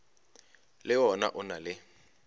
le wona o na le